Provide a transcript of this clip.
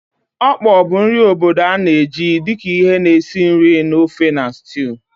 Okpor bụ nri obodo a na-eji dị ka ihe na-esi nri na ofe na stew.